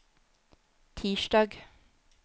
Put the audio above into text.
tirsdag